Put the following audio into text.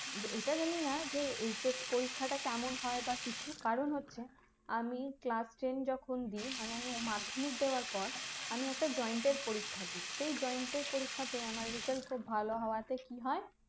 এইটা জানিনা যে HS পরীক্ষা টা কেমন হয় বা কিছু কারণ হচ্ছে আমি class ten যখন দিই মানে আমি মাধ্যমিক দেওয়ার পর আমি একটা joint এর পরীক্ষা দিই সেই joint এর পরীক্ষাতেই আমার result খুব ভালো হওয়াতে কি হয়